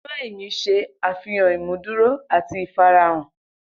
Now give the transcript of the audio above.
Ina eyin ṣe afihan imuduro ati ifarahan.